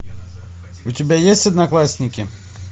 у тебя есть одноклассники